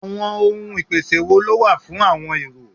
Àwọn ohun ìpèsè wo ló wà fún àọn èrò?